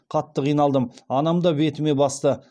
қатты қиналдым анам да бетіме басты